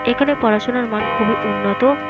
এইখানে পড়াশোনার মান খুবই উন্নত।